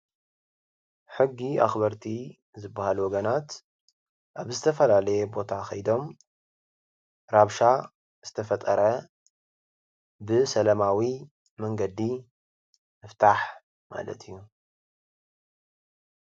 ሕጊ ኣክበርቲ ዝባሃሉ ወገናት ኣብ ዝተፈላለየ ቦታ ከይዶም ራብሻ ዝተፈጠረ ብሰላማዊ መንገዲ ምፍታሕ ማለት እዩ፡፡